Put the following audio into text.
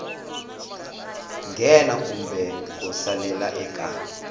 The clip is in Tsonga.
nghena kumbe ku salela eka